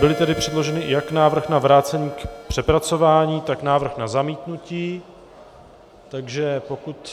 Byly tedy předloženy jak návrh na vrácení k přepracování, tak návrh na zamítnutí.